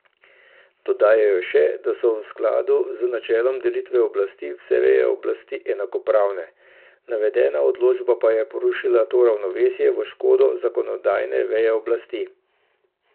Dodajajo še, da so v skladu z načelom delitve oblasti vse veje oblasti enakopravne, navedena odločba pa je porušila to ravnovesje v škodo zakonodajne veje oblasti.